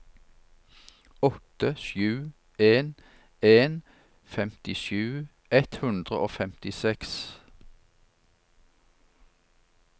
åtte sju en en femtisju ett hundre og femtiseks